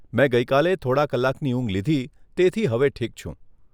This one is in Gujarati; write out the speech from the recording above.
મેં ગઇ કાલે થોડાં કલાકની ઊંઘ લીધી, તેથી હવે ઠીક છું.